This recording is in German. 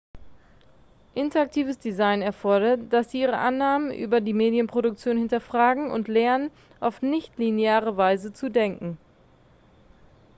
interaktives design erfordert dass sie ihre annahmen über die medienproduktion hinterfragen und lernen auf nicht-lineare weise zu denken